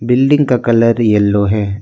Building का colour yellow है।